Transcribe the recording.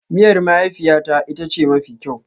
Miyar mahaifiyata ita ce mafi kyau.